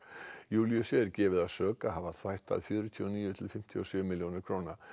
Júlíusi er gefið að sök að hafa fjörutíu og níu til fimmtíu og sjö milljónir króna